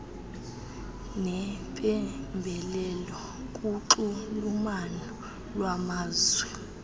neempembelelo kunxulumano lwamazwe